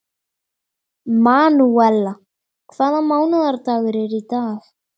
Manúella, hvaða mánaðardagur er í dag?